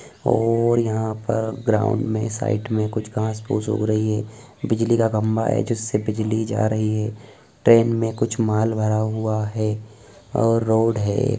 और यहाँ पर ग्राउन्ड में साइड में कुछ घास-फूस उग रही है बिजली का खंभा है जिससे बिजली जा रही है ट्रेन में कुछ माल भरा हुआ है और रोड है।